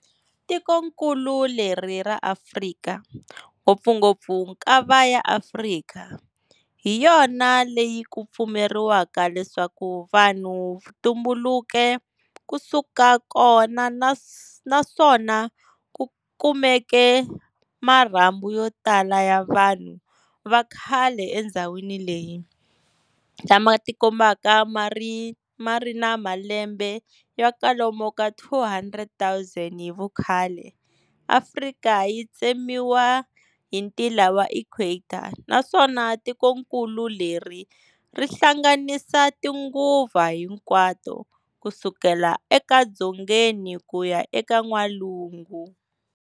Tikonkulu leri ra Afrika, ngopfungopfu Nkava ya Afrika, hiyona leyi ku pfumeriwaka leswaku vanhu vu tumbuluke ku suka kona, naswona ku kumeke marhambu yotala ya vanhu vakhale endzhawini leyi, lama tikombaka mari na malembe ya kwalomu ka 200,000 hivukhale, Afrika yi tsemiwa hi ntila wa equator naswona tikonkulu leri ri hlanganisa tinguva hinkwato kusukela e dzongeni kuya a n'walungu.